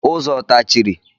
Ụzọ ọ tachiri?